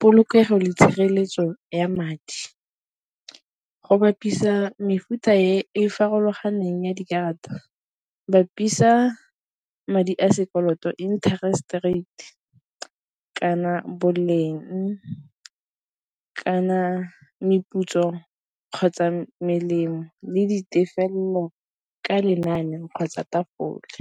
polokego le tshireletso ya madi. Go bapisa mefuta e farologaneng ya dikarata bapisa madi a sekoloto interest rate kana boleng, kana meputso kgotsa melemo le ditefelelo ka lenane kgotsa tafole.